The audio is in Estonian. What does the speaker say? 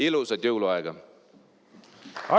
Ilusat jõuluaega!